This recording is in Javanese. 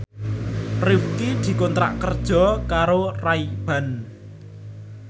Rifqi dikontrak kerja karo Ray Ban